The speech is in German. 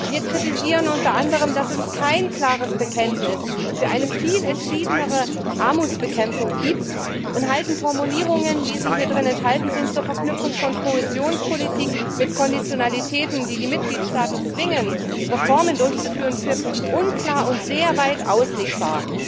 Wir kritisieren unter anderem, dass es kein klares Bekenntnis für eine viel entschiedenere Armutsbekämpfung gibt und halten Formulierungen, wie sie hierin enthalten sind, zur Verknüpfung von Kohäsionspolitik mit Konditionalitäten, die die Mitgliedstaaten zwingen, Reformen durchzuführen, für unklar und sehr weit auslegbar.